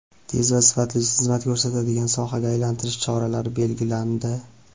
tez va sifatli xizmat ko‘rsatadigan sohaga aylantirish choralari belgilandi.